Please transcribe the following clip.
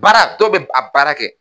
Baara dɔw bɛ ba a baara kɛ.